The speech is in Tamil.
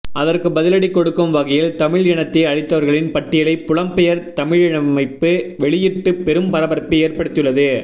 அதற்கு பதிலடி கொடுக்கும் வகையில் தமிழ் இனத்தை அழித்தவர்களின் பட்டியலை புலம்பெயர் தமிழமைப்பு வெளியிட்டு பெரும் பரபரப்பை ஏற்படுத்தியுள்ளது